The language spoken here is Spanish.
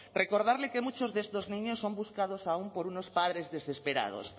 recordarle que muchos de estos niños son buscados aún por unos padres desesperados